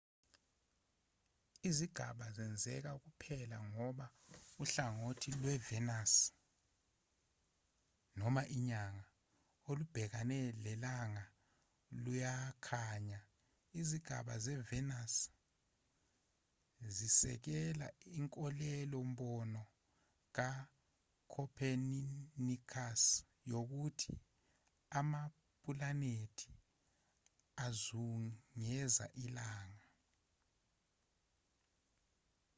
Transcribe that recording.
izigaba zenzeka kuphela ngoba uhlangothi lwevenus noma inyanga olubhekene nelanga luyakhanya. izigaba zevenus zisekela inkolelo-mbono kacopenicus yokuthi amapulanethi azungeza ilanga